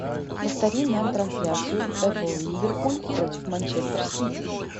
повтори нам трансляцию апл ливерпуль против манчестер сити